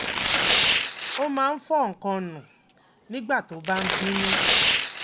ó máa ń fo nǹkan nù nígbà tó bá ń bínú